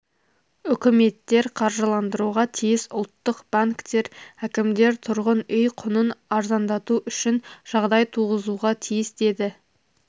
үкіметтер қаржыландыруға тиіс ұлттық банктер әкімдер тұрғын үй құнын арзандату үшін жағдай туғызуға тиіс деді